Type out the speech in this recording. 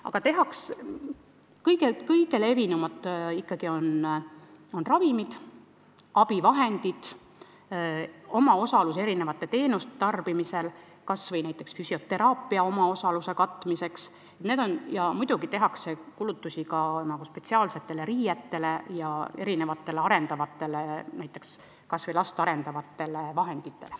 Aga kõige levinumad kulutused on ikkagi kulutused ravimitele ja abivahenditele, kulutused erinevate teenuste tarbimisel, kas või näiteks füsioteraapia omaosaluse katmine, ning muidugi tehakse kulutusi ka spetsiaalsetele riietele ja last arendavatele vahenditele.